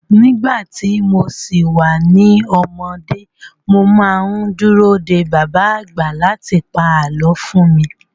Nígbà tí mo si wà ní ọmọdé, mo má ń dúró de bàbá àgbà láti pa àlọ́ fún mi